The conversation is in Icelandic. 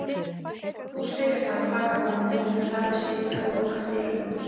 Þú segir það, kvakar hún en lætur þar við sitja og lokar dyrunum.